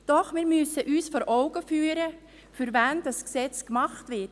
Doch wir müssen uns vor Augen führen, für wen dieses Gesetz gemacht wird.